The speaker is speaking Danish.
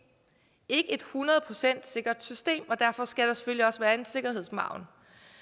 ikke et hundrede procent sikkert system og derfor skal der selvfølgelig også være en sikkerhedsmargen